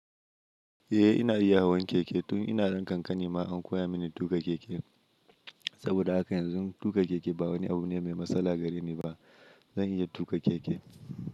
Eh ina iya hawan keke tun ina ɗan ƙanƙani ma an koya mini tuƙa keke. Saboda haka yanzu tuƙa keke ba wani abu ne mai matsala gare ni ba. Zan iya tuƙa keke.